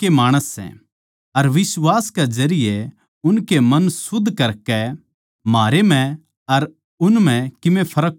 अर बिश्वास कै जरिये उनके मन शुद्ध करकै म्हारै म्ह अर उन म्ह कीमे फर्क कोनी राख्या